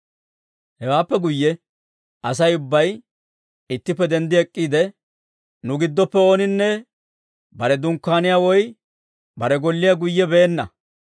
Hewaappe guyye Asay ubbay ittippe denddi ek'k'iide, «Nu giddoppe ooninne bare dunkkaaniyaa woy bare golliyaa guyye beenna.